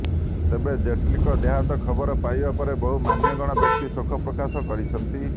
ତେବେ ଜେଟ୍ଲୀଙ୍କ ଦେହାନ୍ତ ଖବର ପାଇବା ପରେ ବହୁ ମାନ୍ୟଗଣ୍ୟ ବ୍ୟକ୍ତି ଶୋକପ୍ରକାଶ କରିଛନ୍ତି